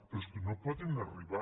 però és que no poden arribar